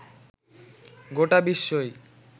গোটা বিশ্বই